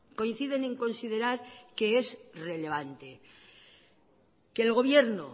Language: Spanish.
coinciden en considerar que es relevante que el gobierno